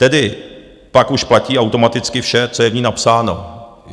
Tedy pak už platí automaticky vše, co je v ní napsáno.